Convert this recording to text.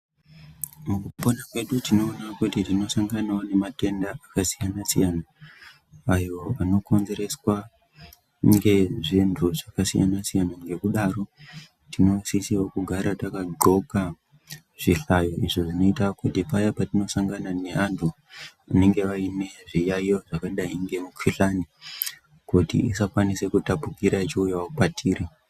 Mukupona kwedu tinoona kuti tinosanganavo nematenda akasiyana-siyana, ayo anokonzereswa ngezvinhu zvakasiyana-siyana. Ngekudaro tinosisiravo kugara takadhloka zvihlayo izvo zvinoita kuti paya patinosangana neantu anenge aine zviyaiyo zvakadai ngemikuhlani. Kuti isakwanise kutapukira ichiuyavo kwatiri.